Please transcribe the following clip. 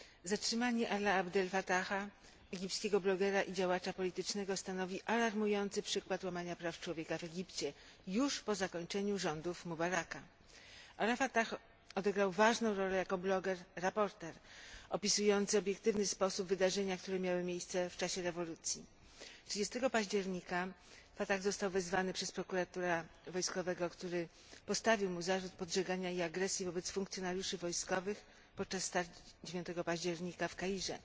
Zatrzymanie Alai Abdela Fataha, egipskiego blogera i działacza politycznego, stanowi alarmujący przykład łamania praw człowieka w Egipcie, już po zakończeniu rządów Mubaraka. Alaa Abdel Fatah odegrał ważną rolę jako bloger reporter, opisujący w obiektywny sposób wydarzenia, które miały miejsce w czasie rewolucji. 30 października Fatah został wezwany przez prokuratora wojskowego, który postawił mu zarzut podżegania i agresji wobec funkcjonariuszy wojskowych podczas starć 9 października w Kairze.